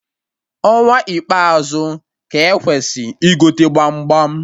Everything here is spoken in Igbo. Ọnwa ikpeazu ka-ekwesị igote gbam gbam